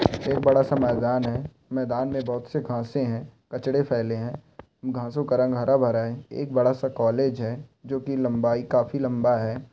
एक बड़ा-सा मैदान है मैदान में बहुत-सी घासे हैं कचरे फैले है घासों का रंग हरा-भरा है एक बड़ा-सा कॉलेज है जो की लंबाई काफी लंबा है।